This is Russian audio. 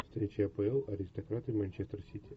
встреча апл аристократы манчестер сити